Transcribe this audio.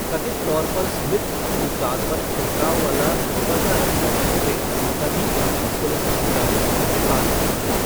कथित तौर पर स्मिथ अपनी कार पर छिड़काव वाला रुपहला रंग कर रहे थे, तभी तीन पुलिस अधिकारी उनके पास पहुंचे।